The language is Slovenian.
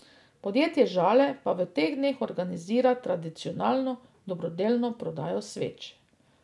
Podjetje Žale pa v teh dneh organizira tradicionalno dobrodelno prodajo sveč.